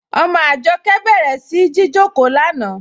Ọmọ Ajọkẹ bẹ̀rẹ̀ sí jìjọkò lánà.